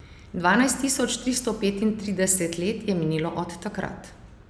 Dvanajst tisoč tristo petintrideset let je minilo od takrat.